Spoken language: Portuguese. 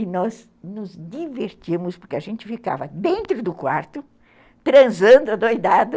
E nós nos divertíamos porque a gente ficava dentro do quarto transando adoidado.